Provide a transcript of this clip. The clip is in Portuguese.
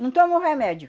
Não tomam remédio.